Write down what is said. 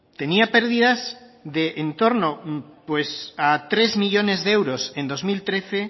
tenía pérdidas de en torno a tres millónes de euros en dos mil trece